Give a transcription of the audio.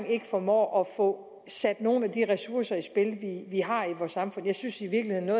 formår at få sat nogle af de ressourcer i spil vi har i vores samfund jeg synes i virkeligheden at